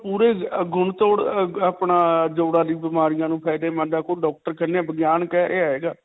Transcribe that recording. ਪੂਰੇ ਤੋੜ ਅਅ ਅਪਣਾ ਬਿਮਾਰੀਆਂ ਨੂੰ ਫ਼ਾਯਦੇਮੰਦ ਹੈ doctor ਕਹਿੰਦੇ .